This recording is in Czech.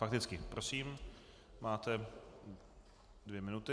Fakticky, prosím, máte dvě minuty.